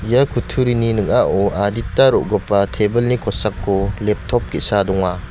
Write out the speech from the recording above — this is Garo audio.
ia kutturini ning·ao adita ro·gipa table-ni kosako leptop ge·sa donga.